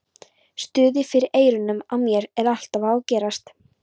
Suðið fyrir eyrunum á mér er alltaf að ágerast.